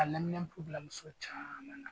Ka neminanpo bila muso caman na.